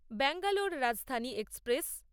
Bangalore Rajdhani express